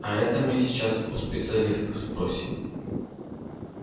а это мы сейчас у специалистов спросим